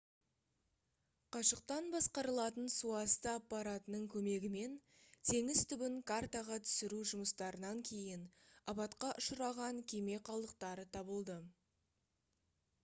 қашықтан басқарылатын суасты аппаратының көмегімен теңіз түбін картаға түсіру жұмыстарынан кейін апатқа ұшыраған кеме қалдықтары табылды